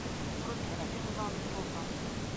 вруби робинзон крузо